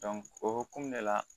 o hokumu de la